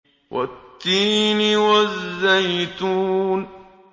وَالتِّينِ وَالزَّيْتُونِ